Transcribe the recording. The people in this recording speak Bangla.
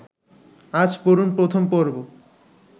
আজ পড়ুন প্রথম পর্ব